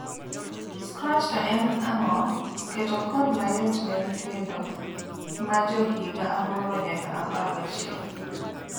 Scratch to en ang'o; Keto code mayot ne nyindo majo higa aboro nyaka apar gachiel.